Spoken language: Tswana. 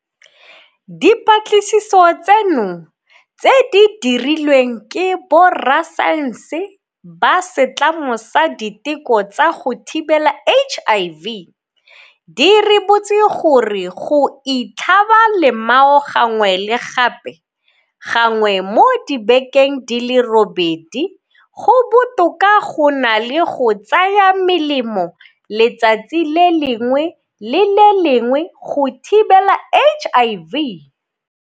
Dipatlisiso tseno, tse di dirilweng ke borasaense ba Setlamo sa Diteko tsa go Thibela HIV, di ribotse gore go itlhaba lemao gangwe le gape gangwe mo dibekeng di le robedi go botoka go na le go tsaya melemo letsatsi le lengwe le le lengwe go thibela HIV.